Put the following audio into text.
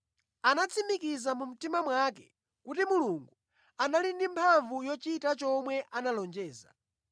Anatsimikiza mu mtima mwake kuti Mulungu anali ndi mphamvu yochita chomwe analonjeza.